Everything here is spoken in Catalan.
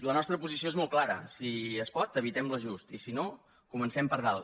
la nostra posició és molt clara si es pot evitem l’ajustament i si no comencem per dalt